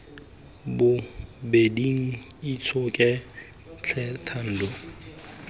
bobeding itshoke tlhe thando nolofatsa